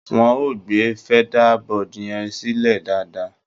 Wọ́n ò gbé feather board yẹn sílẹ̀ dáadáa.